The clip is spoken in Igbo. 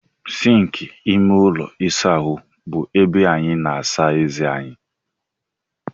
Sịnkị ime ụlọ ịsa ahụ bụ ebe anyị na-asa eze anyị.